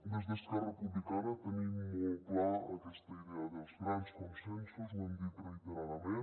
des d’esquerra republicana tenim molt clara aquesta idea dels grans consensos ho hem dit reiteradament